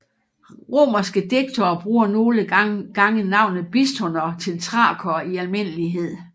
Romerske digtere bruger nogle gange navnet Bistoner til Thrakere i almindelighed